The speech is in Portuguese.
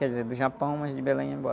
Quer dizer, do Japão, mas de Belém ia embora.